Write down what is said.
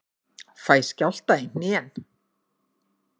Fæ skjálfta í hnén.